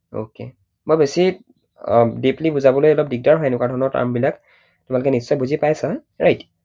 Okay মই বেছি deeply বুজাবলৈ দিগদাৰ হয় এনেকুৱা ধৰণৰ term বিলাক। তোমালোকে নিশ্চয় বুজি পাইছা right?